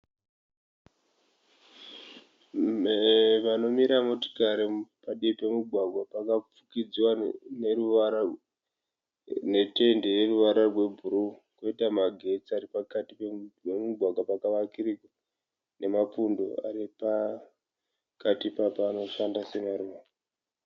Panomira motikari padivi pemugwagwa pakafukidziwa netende yeruvara rwebhuruu koita magetsi ari pakati pemugwagwa pakavakirirwa nemapundo ari pakati ipapa anoshanda semaruva.